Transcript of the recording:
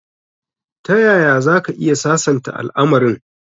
Tayaya zaka iya sasanta al'amarin?